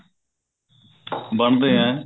ਬਣਦੇ ਏਂ